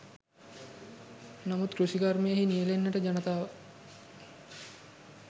නමුත් කෘෂි කර්මයෙහි නියැළෙන්නට ජනතාව